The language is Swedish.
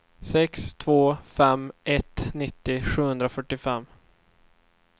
sex två fem ett nittio sjuhundrafyrtiofem